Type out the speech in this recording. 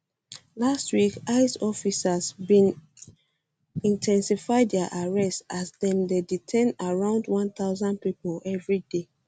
last week ice officers bin officers bin in ten sify dia arrests as dem dey detain around one thousand pipo evri day